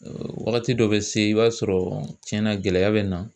Wagati dɔ bɛ se i b'a sɔrɔ tiɲɛnna gɛlɛya bɛ na